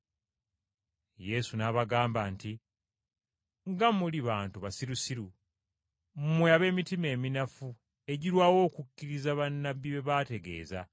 Yesu n’abagamba nti, “Nga muli bantu basirusiru! Mmwe ab’emitima eminafu egirwawo okukkiriza bannabbi bye baategeeza!